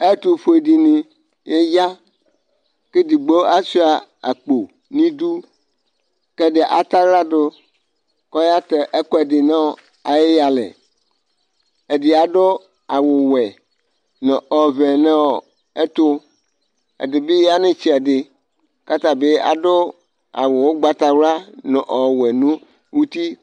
atʋƒʋɛ dini ya kʋ ɛdigbɔ asʋa akpɔ nʋ idʋ kʋ ɛdigbɔ atsala dʋkʋ ɔya tɛ ɛkʋɛdi nʋ ayi yalɛ, ɛdi adʋ awʋ wɛ nʋ ɔvɛ nʋɔ ɛtʋ, ɛdibi yanʋ itsɛdi kʋ atabi adʋ awʋ ɔgbatawla nʋ ɔwɛ nʋ ʋti